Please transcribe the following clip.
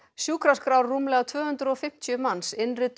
sjúkraskrár rúmlega tvö hundruð og fimmtíu manns